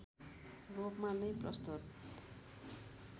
रूपमा नै प्रस्तुत